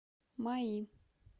маи